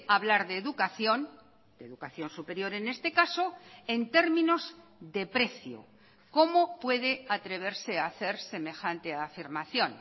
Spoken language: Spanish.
hablar de educación de educación superior en este caso en términos de precio cómo puede atreverse a hacer semejante afirmación